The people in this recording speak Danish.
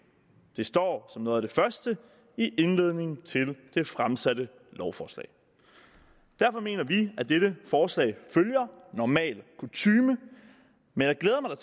det står som noget af det første i indledningen til det fremsatte lovforslag derfor mener vi at dette forslag følger normal kutyme men jeg glæder mig